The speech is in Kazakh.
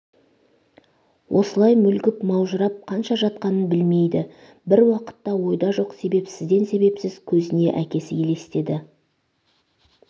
осылай мүлгп маужырап қанша жатқанын білмейді бір уақытта ойда жоқ себепсізден себепсіз көзіне әкесі елестеді